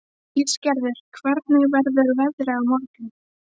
Ísgerður, hvernig verður veðrið á morgun?